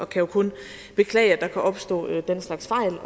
kan jo kun beklage at der kan opstå den slags fejl